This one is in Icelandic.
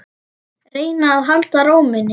Reyna að halda ró minni.